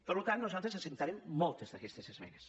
per tant nosaltres acceptarem moltes d’aquestes esmenes